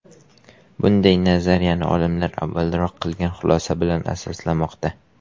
Bunday nazariyani olimlar avvalroq qilingan xulosa bilan asoslamoqda.